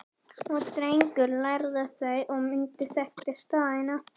Og Drengur lærði þau og mundi og þekkti staðina